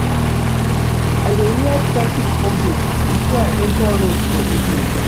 I dey hear traffic updates before I enta road for evening.